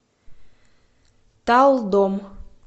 талдом